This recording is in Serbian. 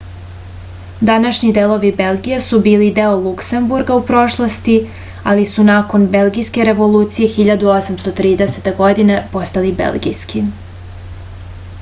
današnji delovi belgije su bili deo luksemburga u prošlosti ali su nakon belgijske revolucije 1830. godine postali belgijski